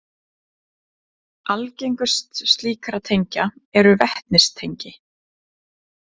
Algengust slíkra tengja eru vetnistengi.